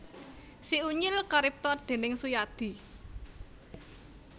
Si Unyil karipta déning Suyadi